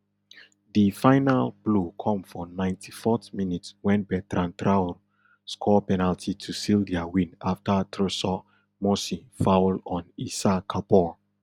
di final blow come for ninety-fourth minute wen bertrand traor score penalty to seal dia win afta trsor mossi foul on issa kabor